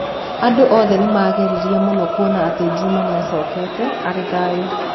Andũ othe nĩ maagegire mũno kuona atĩ Juma nĩ acokete arĩ thayũ.